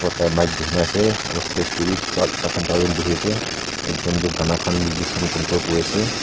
tai mic duri na ase aro stage de bbi tai khan char jun buhi ase ekjun tu gana khan music khan control kuri ase.